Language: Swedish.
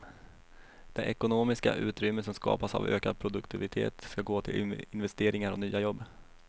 Det ekonomiska utrymme som skapas av ökad produktivitet ska gå till investeringar och nya jobb.